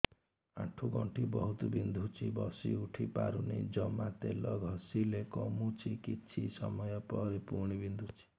ଆଣ୍ଠୁଗଣ୍ଠି ବହୁତ ବିନ୍ଧୁଛି ବସିଉଠି ପାରୁନି ଜମା ତେଲ ଘଷିଲେ କମୁଛି କିଛି ସମୟ ପରେ ପୁଣି ବିନ୍ଧୁଛି